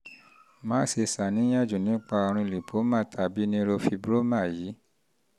má ṣe ṣàníyàn jù nípa àrùn lípómà tàbí neurofibroma yìí